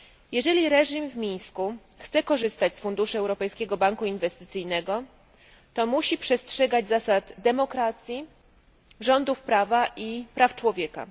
Jeżeli reżim w Mińsku chce korzystać z funduszy Europejskiego Banku Inwestycyjnego, musi przestrzegać zasad demokracji, rządów prawa i praw człowieka.